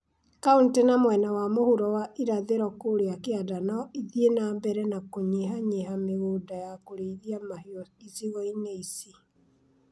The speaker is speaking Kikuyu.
Kauntĩ na mwena wa mũhuro wa irathĩro kũrĩa kĩanda no ithiĩ na mbere na kũnyihanyihia mĩgũnda ya kũrĩithia mahiũ icigo-inĩ ici.